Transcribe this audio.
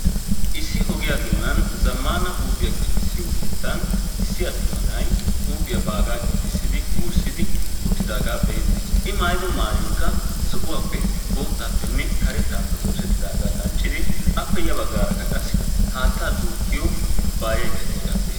Issi ogiya doonan zammaana huuphiya giigissiyo keettan issi attuma na'ay huuphiya baagaa giigissidi wurssidi uttidaagaa be'eettees. I maayido maayoykka zo'uwappe boottaappenne karettaappe oosettidaagaa danccidi appe ya baggaarakka qassi haattaa duuqqiyo kubbaayaykka diyaagaa be'eet.